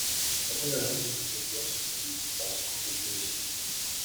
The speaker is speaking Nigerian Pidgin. i tell am say she suppose watch the plate as good pikin wey she be